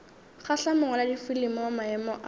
kgahla mongwaladifilimi wa maemo a